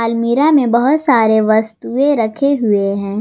मीरा में बहोत सारे वस्तुएं रखे हुए हैं।